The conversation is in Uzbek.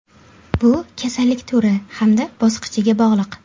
Bu kasallik turi hamda bosqichiga bog‘liq.